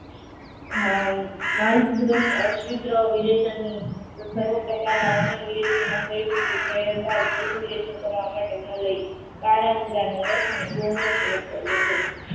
હમ માલ પૂર્વક સર્વ પ્રકારના મલય, કાળા ઉંદરા નો રસ ને ગોળનો પ્રયોગ કરવો જોઇયે.